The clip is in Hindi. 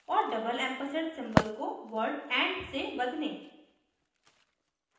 और double ampersand सिंबल को वर्ड and से बदलें